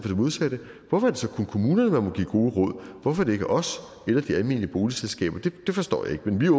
modsatte hvorfor er det så kun kommunerne man må give gode råd hvorfor er det ikke os eller de almene boligselskaber det forstår jeg ikke men vi er